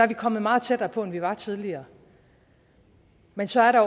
vi kommet meget tættere på end vi var tidligere men så er der